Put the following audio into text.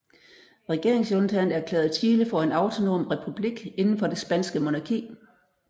Regeringsjuntaen erklærede Chile for en autonom republik inden for det spanske monarki